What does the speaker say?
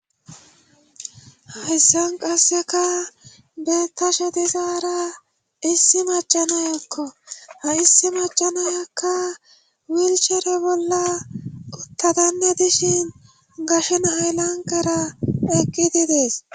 hahissan qasseka beetashe dizaara issi macanayokko ha issi macanayakka wilshere bolla quttadanne dishin gashena aylanqera eqqidi dees